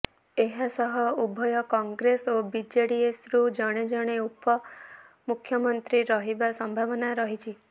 ଏହା ସହ ଉଭୟ କଂଗ୍ରେସ ଓ ଜେଡିଏସରୁ ଜଣେ ଜଣେ ଉପମୁଖ୍ୟମନ୍ତ୍ରୀ ରହିବା ସମ୍ଭାବନା ରହିଛି